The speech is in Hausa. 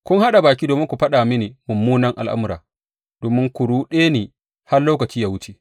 Kun haɗa baki domin ku faɗa mini munanan al’amura domin ku ruɗe ni har lokaci yă wuce.